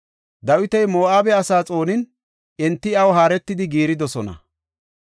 Dawiti Moo7abe asaa xoonin, enti iyaw haaretidi giiridosona.